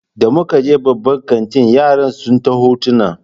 Da muka je babban kantin yaran sun ta hotona